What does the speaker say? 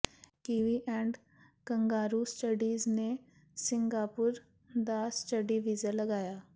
kiwi and Kangaroo Studies ਨੇ Singapore ਦਾ study visa ਲਗਾਇਆ